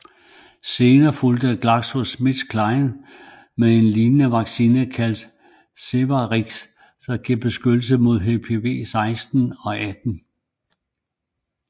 Senere fulgte GlaxoSmithKline med en lignende vaccine kaldet Cervarix der giver beskyttelse mod HPV 16 og 18